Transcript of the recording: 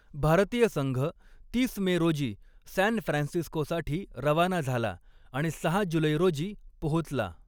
भारतीय संघ तीस मे रोजी सॅन फ्रान्सिस्कोसाठी रवाना झाला आणि सहा जुलै रोजी पोहोचला.